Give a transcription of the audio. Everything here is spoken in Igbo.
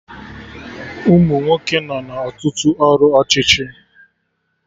Umunwoke nọ na Ọtụtụ ọrụ ọchịchị